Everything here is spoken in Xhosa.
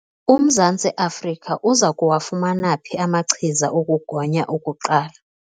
UMzantsi Afrika uza kuwafumana phi amachiza okugonya okuqala?